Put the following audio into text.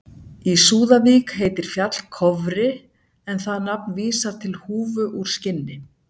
í súðavík heitir fjall kofri en það nafn vísar til húfu úr skinni